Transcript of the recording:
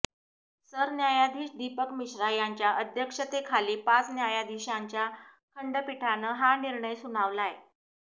सरन्यायाधीश दीपक मिश्रा यांच्या अध्यक्षतेखाली पाच न्यायाधीशांच्या खंडपीठानं हा निर्णय सुनावलाय